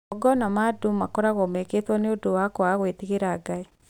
magongona ma andũ makoragwo mekĩtwo nĩ ũndũ wa kwaga gwĩtigĩra Ngai